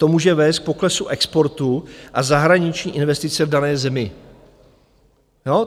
To může vést k poklesu exportu a zahraniční investice v dané zemi.